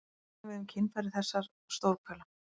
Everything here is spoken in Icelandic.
Það á einnig við um kynfæri þessar stórhvela.